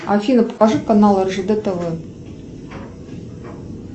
афина покажи канал ржд тв